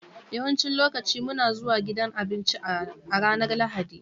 Yawancin lokaci muna zuwa gidan abinci a ranar Lahadi.